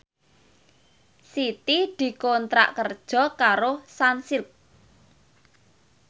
Siti dikontrak kerja karo Sunsilk